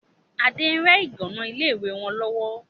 Adé ń rẹ ìgànnà ilé ìwé wọn lọ́wọ́